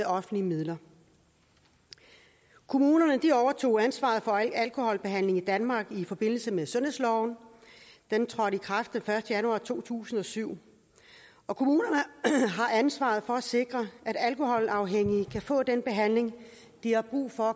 offentlige midler kommunerne overtog ansvaret for alkoholbehandlingen i danmark i forbindelse med sundhedsloven den trådte i kraft den første januar to tusind og syv og kommunerne har ansvaret for at sikre at alkoholafhængige kan få den behandling de har brug for